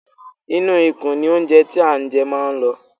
Inú ikùn ní óńjẹ tí a jẹ máa ń lọ.